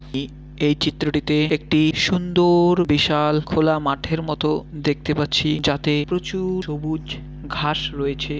এ-এই চিত্রটিতে একটি সুন্দর বিশাল খোলা মাঠের মতো দেখতে পাচ্ছি যাতে প্রচুর সবুজ ঘাস রয়েছে।